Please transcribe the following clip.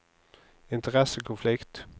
interessekonflikt